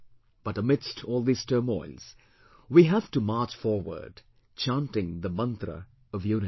But amidst all these turmoils, we have to march forward chanting the Mantra of Unity